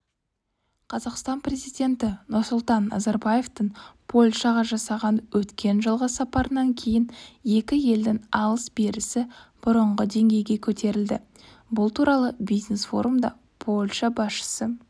қазақстан президенті нұрсұлтан назарбаевтың польшаға жасаған өткен жылғы сапарынан кейін екі елдің алыс-берісі бұрынғы деңгейге көтерілді бұл туралы бизнес-форумда польша басшысы